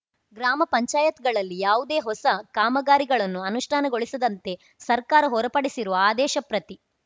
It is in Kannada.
ಗ್ರಾಮ ಪಂಚಾಯತ್ ಗಳಲ್ಲಿ ಯಾವುದೇ ಹೊಸ ಕಾಮಗಾರಿಗಳನ್ನು ಅನುಷ್ಠಾನಗೊಳಿಸದಂತೆ ಸರ್ಕಾರ ಹೊರಪಡಿಸಿರುವ ಆದೇಶಪ್ರತಿ